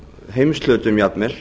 heimshlutum jafnvel